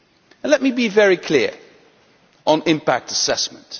And let me be very clear on impact assessment.